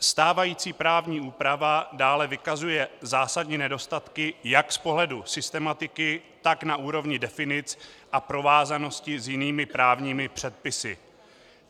Stávající právní úprava dále vykazuje zásadní nedostatky jak z pohledu systematiky, tak na úrovni definic a provázanosti s jinými právními předpisy.